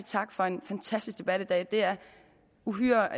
tak for en fantastisk debat i dag det er uhyre